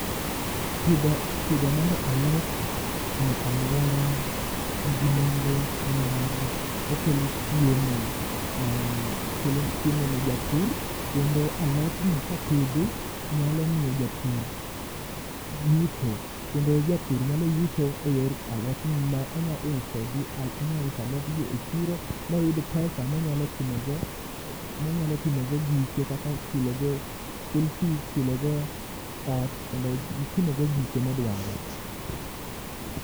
pidho mar alot e aluora nigi nengo ni mar okelo chiemo mar okelo chiemo ne japur kendo alot ni kopidhi nyalo miyo japur yuto kendo japur nyalo yuto e yor alot ni ma onya uso onya uso alot gi e chiro moyud pesa monyalo timo go gike kaka chulo go school fees, chulo go ot kendo timo go gike modwaro